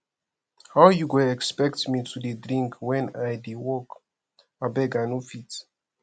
how you go expect me to dey drink wen i dey work abeg i no fit